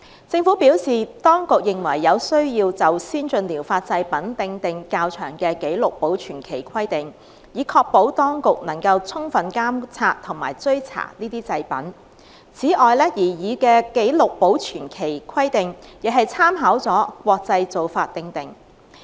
政府表示，當局認為有需要就先進療法製品訂定較長的紀錄保存期規定，以確保當局能夠充分監察和追查這些製品。此外，擬議的紀錄保存期規定，亦參考了國際做法而訂定。